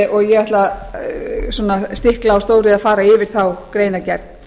og ég ætla að stikla á stóru að fara yfir þá greinargerð